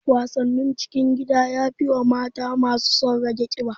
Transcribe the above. Wasannin cikin gida yafi wa mata masu son rage ƙiba